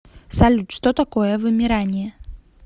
салют что такое вымирание